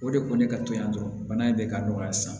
O de ko ne ka to yan dɔrɔn bana in bɛ ka nɔgɔya sisan